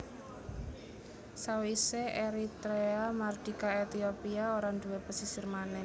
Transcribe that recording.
Sawisé Eritrea mardika Etiopia ora nduwé pesisir manèh